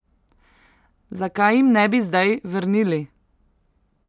Zakaj jim ne bi zdaj vrnili?